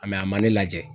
a ma ne lajɛ